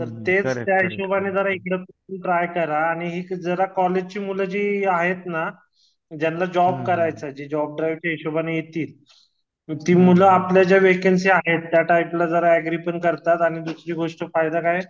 तर त्या हिशोबाने इकडेपण ट्राय करा हि जरा कॉलेजची मूलजी आहेत ना ज्यांना जॉब करायचा आहे ना जॉब ड्राईव्हच्या हिशोबाने येतील ती मुलं आपल्या ज्या व्हेकन्सी आहे त्या टाइपला जरा ऍग्री पण करतात आणि दुसरी गोष्ट फायदा काय